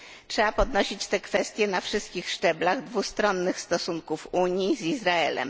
Trzeba podnosić te kwestie na wszystkich szczeblach dwustronnych stosunków Unii z Izraelem.